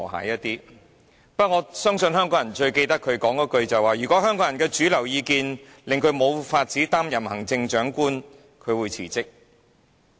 我相信香港人最記得她說的一句話，就是如果香港人的主流意見令她無法擔任行政長官，她會辭職。